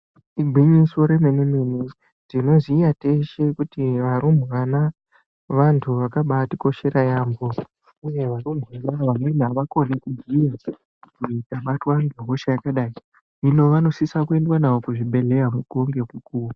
Igwinyiso remene mene tinoziva teshe kuti rumbwana vantu vakabatikosgera yambo uye rumbwana vamweni avakoni kugeza ukabatwa nehosha yakadai hino vanosisa kuenda navo kuzvibhedhlera mukuwo nemukuwo.